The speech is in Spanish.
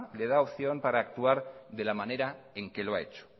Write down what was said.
le da opción para actuar de la manera en que lo ha hecho